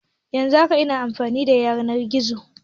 Yanzun haka ina amfani da yanar gizo